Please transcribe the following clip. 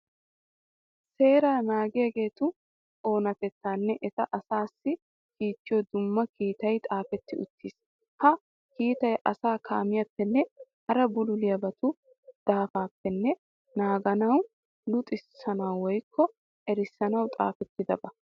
Seera naagissiyageetu oonatettaanne eti asaassi kiittiyo dumma kiitay xaafetti uttiis. Ha kiitay asaa kaamiyappenne hara bululiyabatu daafaappe naaganawunne luxissanawu woyikko erissanawu xaafettidaba.